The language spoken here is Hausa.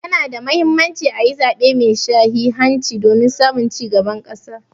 Ya na da Muhimmanci a yi zaɓe mai sahihanci domin samun ci gaban ƙasa.